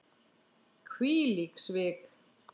Hvílík svik!